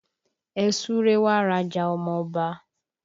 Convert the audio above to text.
Ẹ súre wá raja ọmọ Ọba!